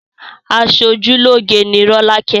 Aṣojúlóge ni rolake